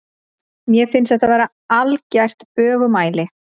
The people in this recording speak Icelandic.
Mér finnst þetta vera algert bögumæli.